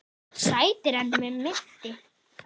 Sætari en mig minnti.